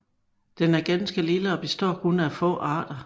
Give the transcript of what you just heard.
Den er ganske lille og består kun af nogle få arter